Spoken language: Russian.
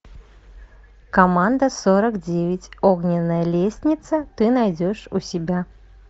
команда сорок девять огненная лестница ты найдешь у себя